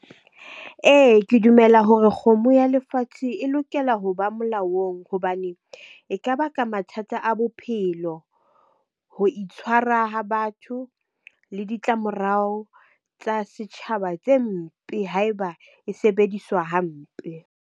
Ee, ke dumela hore kgomo ya lefatshe e lokela ho ba molaong hobane e ka baka mathata a bophelo, ho itshwara ha batho le ditlamorao tsa setjhaba tse mpe ha eba e sebediswa hampe.